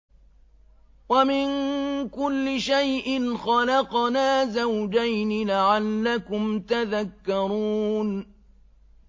وَمِن كُلِّ شَيْءٍ خَلَقْنَا زَوْجَيْنِ لَعَلَّكُمْ تَذَكَّرُونَ